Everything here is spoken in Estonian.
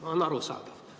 See on arusaadav.